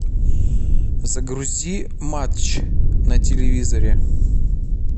загрузи матч на телевизоре